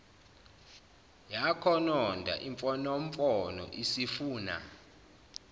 yakhononda imfonomfono isifuna